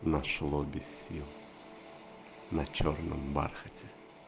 наш лобесил на чёрном бархате